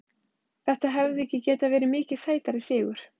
Þetta hefði ekki getað verið mikið sætari sigur.